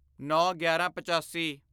ਨੌਂਗਿਆਰਾਂਪਚਾਸੀ